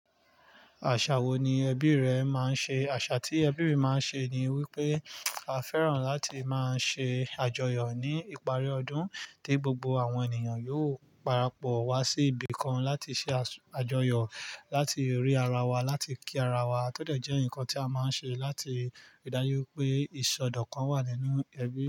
Àṣà wo ni ẹbí rẹ máa ń ṣe? Àṣà tí ẹbí mi máa ń ṣe ni wípé a fẹ́ràn láti máa ṣe àjọyọ̀ ní ìparí ọdún, tí gbogbo àwọn ènìyàn yóò parapọ̀ wá sí ibì kan láti ṣe àjọyọ̀, láti rí ara wa, láti kí ara wa, tọdọ̀ jẹ́ nǹkan tí a máa ń ṣe láti ìdájú pé ìsọdọ̀kan wà nínú ẹbí.